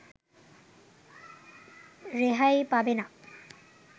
রেহাই পাবে না